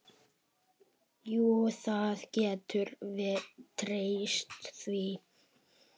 Jú, þú getur treyst því.